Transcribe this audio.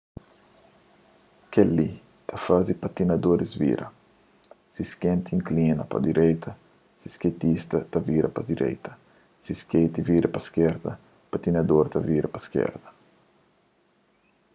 kel-li ta faze patinadoris vira si skeiti inklina pa direita skeitista ta vira pa direita si skeiti vira pa iskerda patinador ta vira pa iskerda